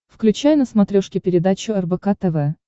включай на смотрешке передачу рбк тв